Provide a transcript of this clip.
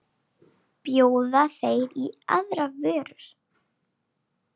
Bjóða þeir í aðrar vörur?